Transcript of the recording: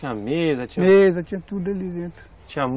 Tinha mesa, mesa, tinha tudo ali dentro.